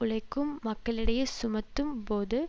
உழைக்கும் மக்களிடையே சுமத்தும் போது